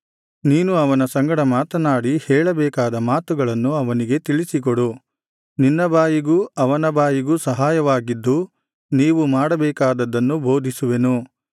ನೀನು ಅವನ ಸಂಗಡ ಮಾತನಾಡಿ ಹೇಳಬೇಕಾದ ಮಾತುಗಳನ್ನು ಅವನಿಗೆ ತಿಳಿಸಿಕೊಡು ನಿನ್ನ ಬಾಯಿಗೂ ಅವನ ಬಾಯಿಗೂ ಸಹಾಯವಾಗಿದ್ದು ನೀವು ಮಾಡಬೇಕಾದದ್ದನ್ನು ಬೋಧಿಸುವೆನು